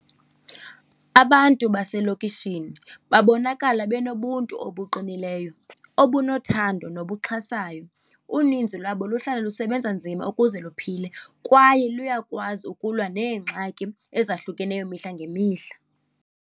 Abantu baselokishini babonakala benobuntu obuqinileyo, obunothando nobuxhasayo. Uninzi lwabo luhlala lusebenza nzima ukuze luphile kwaye luyakwazi ukulwa neengxaki ezahlukeneyo mihla ngemihla.